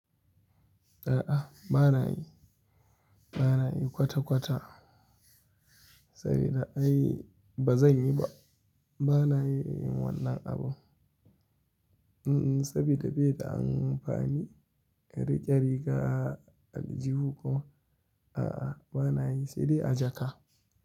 A'a, ba na yi. Ba na yi kwata kwata sabida ai ba zan yi ba. Ba na yin wannan abu. Mm, sabida bai da amfani, rike riga aljihu kuma. A'a, ba na yi sai dai a jaka.